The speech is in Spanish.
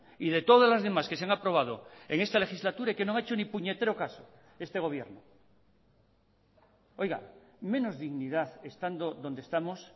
y de todas las demás que se han aprobado en esta legislatura y que no ha hecho ni puñetero caso este gobierno menos dignidad estando donde estamos